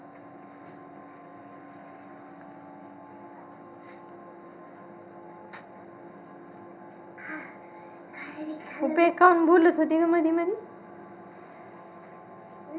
काहून बोलत होती गं मधीमधी?